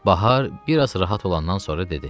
Bahar bir az rahat olandan sonra dedi.